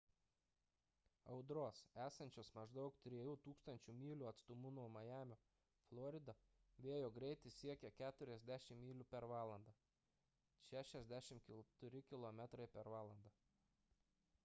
audros esančios maždaug 3 000 mylių atstumu nuo majamio florida vėjo greitis siekia 40 myl./h 64 km/h